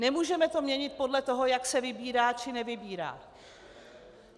Nemůžeme to měnit podle toho, jak se vybírá, či nevybírá.